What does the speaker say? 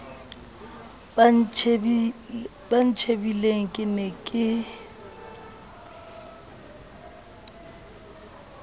ba ntjhebileng ke ne ke